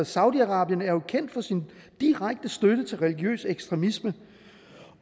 saudi arabien er jo kendt for sin direkte støtte til religiøs ekstremisme